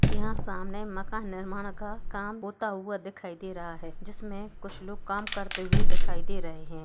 यहाँ सामने मकान का निर्माण होते हुए दिखाई दे रहा है जिसमे कुछ लग काम करते हुए दिखाई दे रहें हैं।